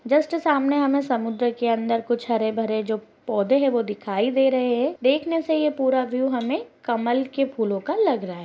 Just सामने हमें समंदर के अंदर कुछ हरे-भरे जो पोधें है वो दिखाई दे रहे हैं देखने से ये पूरा व्यू हमें कमल के फूलो का लग रहा है।